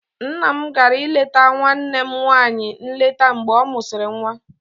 Nne m gara ileta nwanne m nwanyị nleta mgbe ọ mụsịrị nwa.